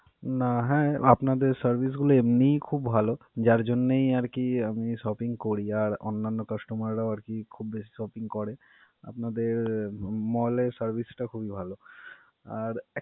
না হ্যা আপনাদের service গুলা এমনেই খুব ভালো যার জন্যই আর কি আমি shopping করি আর অন্যান্য customer রাও আর কি খুব বেশ shopping করে. আপনাদের mall এর service টা খুবই ভালো. আর এক~.